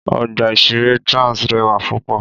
Ọgbà ìṣeré Trans rẹwà púpọ̀